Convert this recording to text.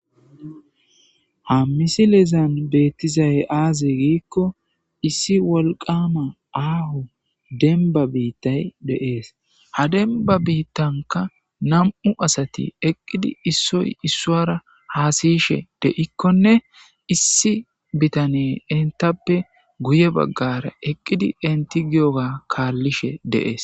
Ha missilezan bettizay aze gikko issi wolqqama aho dembba bittay de7es ha demba bitankka nam7u asati eqqidi issoy isuwara hasa'she deikonne issi bitaney entappe guye baggara eqqidi enti giyoba kalishshe de7es.